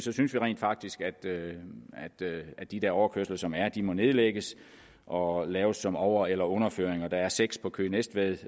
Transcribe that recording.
vi synes rent faktisk at de overkørsler som er der må nedlægges og og laves som over eller underføringer og der er seks på køge næstved